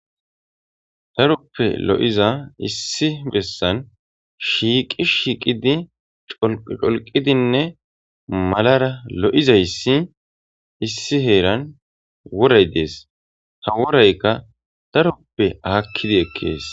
Taruppe lo'iza issi bessan shiiqi shiiqidi colqidinne malara lo'izayssi issi heeran woray dees ta woraykka taruppe aakkidi ekkees.